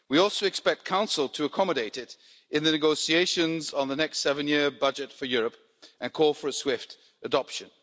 We also expect the Council to accommodate it in the negotiations on the next seven year budget for Europe and call for a swift adoption.